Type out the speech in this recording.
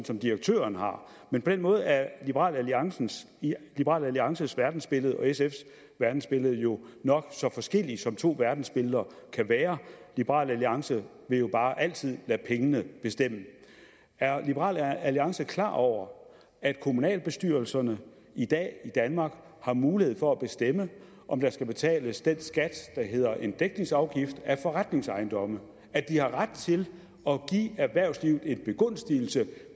som direktøren har men på den måde er liberal alliances liberal alliances verdensbillede og sfs verdensbillede jo nok så forskellige som to verdensbilleder kan være liberal alliance vil jo bare altid lade pengene bestemme er liberal alliance klar over at kommunalbestyrelserne i dag i danmark har mulighed for at bestemme om der skal betales den skat der hedder en dækningsafgift af forretningsejendomme at de har ret til at give erhvervslivet en begunstigelse